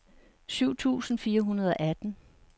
syv tusind fire hundrede og atten